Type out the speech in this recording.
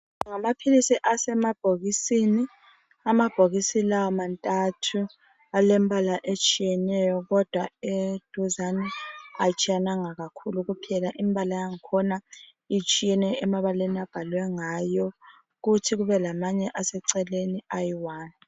Ngamaphilisi asemabhokisini, amabhokisi lawa mantathu. Alembala etshiyeneyo kodwa eduzane atshiyananga kakhulu kuphela imbala yankhona itshiyene emabaleni abhalwe ngayo kuthi kube lamanye aseceleni ayi one